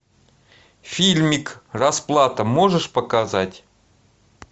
фильмик расплата можешь показать